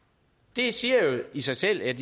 det siger jo i sig selv at